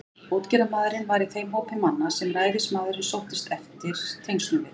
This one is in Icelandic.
Útgerðarmaðurinn var í þeim hópi manna, sem ræðismaðurinn sóttist eftir tengslum við.